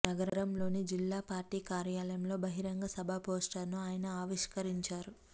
నగరంలోని జిల్లా పార్టీ కార్యాలయంలో బహిరంగ సభ పోస్టర్ ను ఆయన ఆవిష్కరించారు